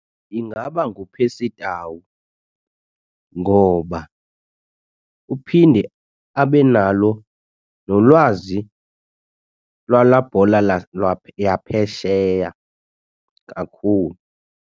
Ingaba nguPercy Tau ngoba uphinde abe nalo nolwazi lwalaa bhola yaphesheya kakhulu.